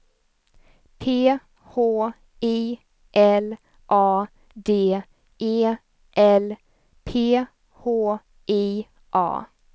P H I L A D E L P H I A